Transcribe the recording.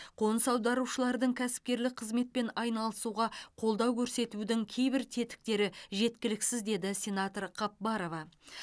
қоныс аударушылардың кәсіпкерлік қызметпен айналысуға қолдау көрсетудің кейбір тетіктері жеткіліксіз деді сенатор қапбарова